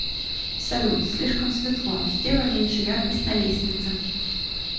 салют слишком светло сделай меньше яркость на лестнице